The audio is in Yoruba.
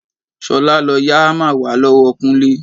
Ṣolá, lọ yá hámà wá lọ́wọ́ Kúnlé.